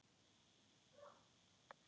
Það er allt farið núna.